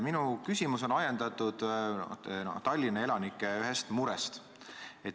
Minu küsimus on ajendatud ühest Tallinna elanike murest.